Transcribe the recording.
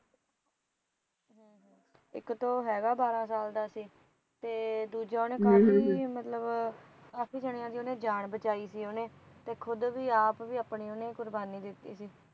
ਇਕ ਤਾ ਉਹ ਹੈਗਾ ਬਾਹਰਾ ਸਾਲ ਦਾ ਸੀ ਤੇ ਦੂਜਾ ਉਹਣੇ ਕਾਫ਼ੀ ਮਤਲਬ ਕਾਫ਼ੀ ਜਾਣੀਆਂ ਦੀ ਉਹਣੇ ਜਾਣ ਬਚਾਈ ਸੀ ਉਹਣੇ ਤੇ ਖੁਦ ਵਿ ਆਪ ਵੀ ਉਹਨੇ ਕੁਰਬਾਨੀ ਦਿੰਤੀ ਸੀ